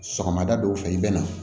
Sɔgɔmada dɔw fɛ i bɛ na